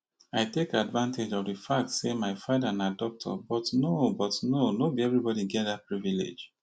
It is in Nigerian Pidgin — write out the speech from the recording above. i take advantage of di fact say my father na doctor but no but no be everyone get dat privilege